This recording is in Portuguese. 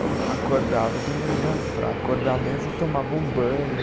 Eu acordava de manhã, para acordar mesmo eu tomava um banho.